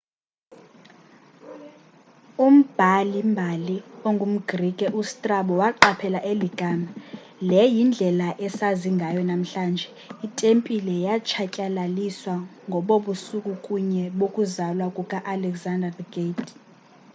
umbhali-mbali ongumgrike ustrabo waqaphela eli gama le yindlela esazi ngayo namhlanje. itempile yatshatyalaliswa ngobo busuku bunye bokuzalwa kuka-alexander the great